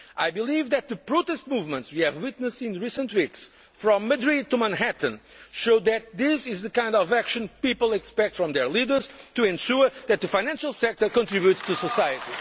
Cannes. I believe that the protest movements we have witnessed in recent weeks, from Madrid to Manhattan, show that this is the kind of action people expect from their leaders to ensure that the financial sector contributes to